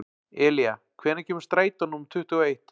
Elía, hvenær kemur strætó númer tuttugu og eitt?